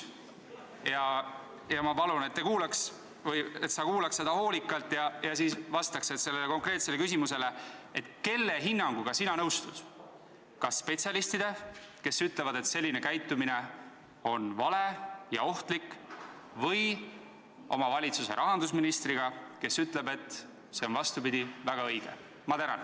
Minu küsimus : kelle hinnanguga sina nõustud, kas spetsialistide omaga, kes ütlevad, et selline käitumine on vale ja ohtlik, või oma valitsuse rahandusministri hinnanguga, kes ütleb, et see on, vastupidi, väga õige?